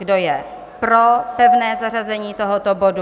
Kdo je pro pevné zařazení tohoto bodu?